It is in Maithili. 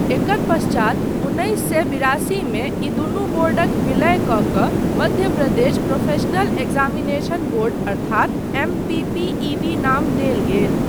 एकर पश्चात उन्नैस सए बिरासीमे ई दुनू बोर्डक विलय कऽ कऽ Madhya Pradesh professional examination board अर्थात एमपीपीईबी नाम देल गेल।